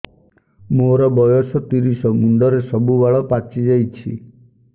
ମୋର ବୟସ ତିରିଶ ମୁଣ୍ଡରେ ସବୁ ବାଳ ପାଚିଯାଇଛି